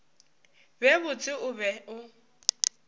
be botse o be o